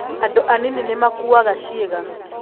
Andũ anini nĩ makuaga ciĩga.